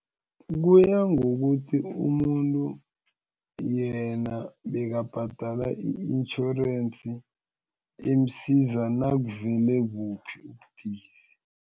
Kuya ngokuthi umuntu yena bekabhadala i-intjhorensi emsiza nakuvele buphi ubudisi.